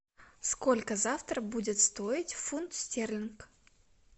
сколько завтра будет стоить фунт стерлинг